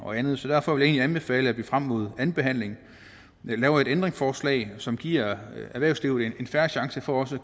og andet derfor vil jeg egentlig anbefale at vi frem mod andenbehandlingen laver et ændringsforslag som giver erhvervslivet en fair chance for også